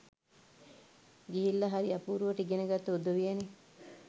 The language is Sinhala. ගිහිල්ල හරි අපුරුවට ඉගෙන ගත්තු උදවියනෙ.